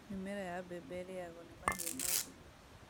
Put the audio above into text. Mĩmera ya mbembe ĩrĩagwo nĩ mahĩũ mothe